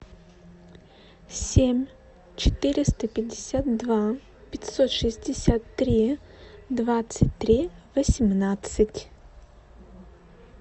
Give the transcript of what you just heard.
семь четыреста пятьдесят два пятьсот шестьдесят три двадцать три восемнадцать